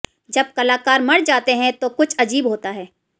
जब कलाकार मर जाते हैं तो कुछ अजीब होता है